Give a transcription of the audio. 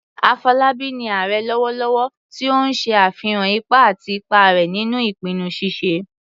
Afolabi ni "Ààrẹ " lọwọlọwọ, ti o n ṣe afihan ipa àti ipa rẹ̀ nínú ìpinnu ṣíṣe